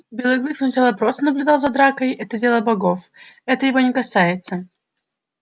белый клык сначала просто наблюдал за дракой это дело богов это его не касается